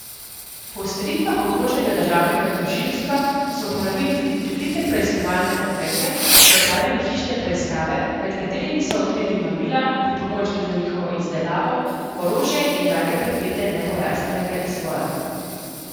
Po usmeritvah okrožnega državnega tožilstva so uporabili tudi prikrite preiskovalne ukrepe in opravili hišne preiskave, med katerimi so odkrili mamila, pripomočke za njihovo izdelavo, orožje in drage predmete nepojasnjenega izvora.